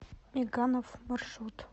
меганов маршрут